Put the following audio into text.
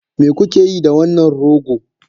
Me kuke yi da wannan rogo?